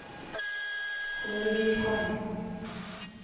Kårvikhamn